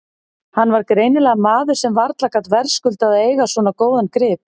Hann var greinilega maður sem varla gat verðskuldað að eiga svo góðan grip.